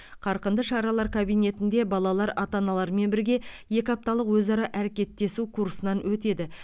қарқынды шаралар кабинетінде балалар ата аналарымен бірге екі апталық өзара әрекеттесу курсынан өтеді